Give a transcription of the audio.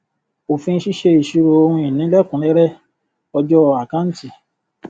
òfin ṣíṣe ìṣirò ohun ìní lẹkùnúnrẹrẹ ọjọ àkáǹtì